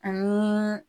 Ani